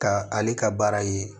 Ka ale ka baara ye